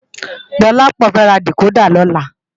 Dolapo fè rá dikódà lòlá